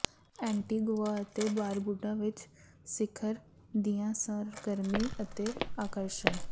Antigua ਅਤੇ Barbuda ਵਿਚ ਸਿਖਰ ਦੀਆਂ ਸਰਗਰਮੀ ਅਤੇ ਆਕਰਸ਼ਣ